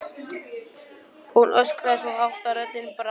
Hún öskraði svo hátt að röddin brast.